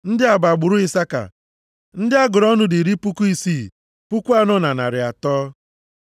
Ndị a bụ agbụrụ Isaka. Ndị a gụrụ ọnụ dị iri puku isii, puku anọ na narị atọ (64,300).